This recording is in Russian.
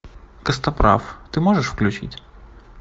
костоправ ты можешь включить